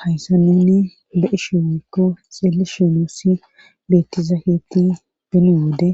Hayssa nunne be7ishe woykko xeeli shenuussi bettizakeetti beni wode